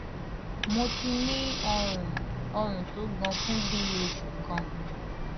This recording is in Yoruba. mo ti ní ọrùn ọrùn tó gan fún bí i oṣù kan